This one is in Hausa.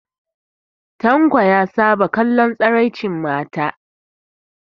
Tanko ya saba kallon tsiraicin mata